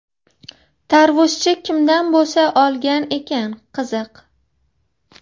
Tarvuzchi kimdan bo‘sa olgan ekan, qiziq.